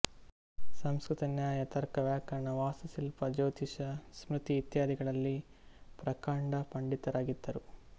ಸಂಸ್ಕೃತ ನ್ಯಾಯ ತರ್ಕ ವ್ಯಾಕರಣ ವಾಸ್ತುಶಿಲ್ಪ ಜ್ಯೋತಿಷ್ಯ ಸ್ಮೃತಿ ಇತ್ಯಾದಿಗಳಲ್ಲಿ ಪ್ರಕಾಂಡ ಪಂಡಿತರಾಗಿದ್ದರು